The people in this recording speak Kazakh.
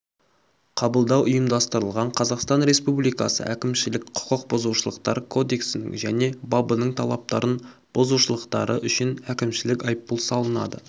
қабылдау ұйымдастырылған қазақстан республикасы әкімшілік құқық бұзушылықтар кодексінің және бабының талаптарын бұзушушылықтары үшін әкімшілік айыппұл салынады